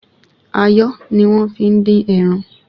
Ayọ́ ni wọ́n fi ń dín ẹran